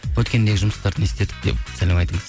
өткенде жұмыстарды не істедік деп сәлем айтыңыз